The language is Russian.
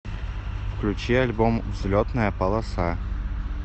включи альбом взлетная полоса